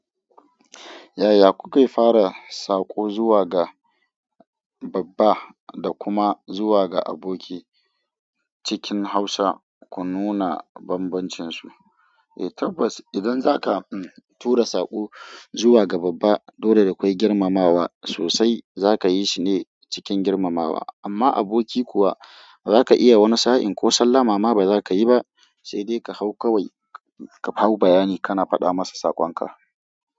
Yaya kuke fara sako zuwa ga babba da kuma zuwa ga aboki cikin hausa ku nuna banbancinsu? Eh tabbas idan zaka tura sako zuwa ga babba, dole da akwai girmamawa sosai. Zaka yi shi ne cikin girmamawa, amma aboki kuwa zaka iya wani sa'in ko sallah. Mama ba za ka yi ba, sai dai ka hau kawai ka hau bayani kana faɗa masa sakon ka.